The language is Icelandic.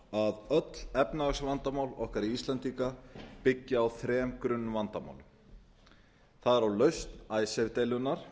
að öll efnahagsvandamál okkar íslendinga byggja á þrem grunnvandamálum það er á lausn icesave deilunnar